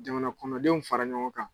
Jamana kɔnɔdenw fara ɲɔgɔn kan.